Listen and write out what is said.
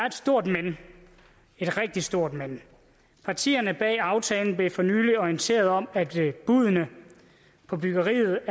et stort men et rigtig stort men partierne bag aftalen blev for nylig orienteret om at buddene på byggeriet